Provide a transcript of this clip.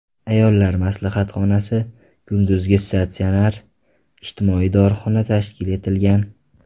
Ayollar maslahatxonasi, kunduzgi statsionar, ijtimoiy dorixona tashkil etilgan.